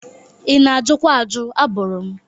Ị na-ajụkwa ajụ, abụrụ m.